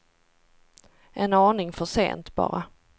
En aning för sent, bara.